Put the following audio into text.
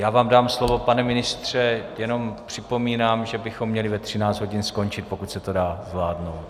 Já vám dám slovo, pane ministře, jenom připomínám, že bychom měli ve 13 hodin skončit, pokud se to dá zvládnout.